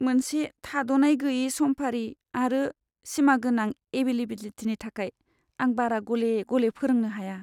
मोनसे थाद'नाय गैयै समफारि आरो सिमागोनां एभेलेबिलिटिनि थाखाय, आं बारा गले गले फोरोंनो हाया।